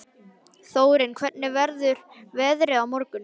Þórinn, hvernig verður veðrið á morgun?